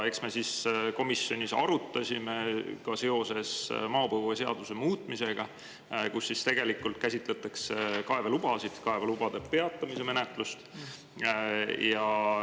Me komisjonis arutasime seda seoses maapõueseaduse muutmisega, kus käsitletakse kaevelubasid, kaevelubade peatamise menetlust.